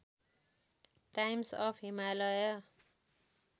times of Himalaya